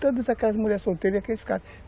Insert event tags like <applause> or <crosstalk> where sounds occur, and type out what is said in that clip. Todas aquelas mulheres solteiras <unintelligible>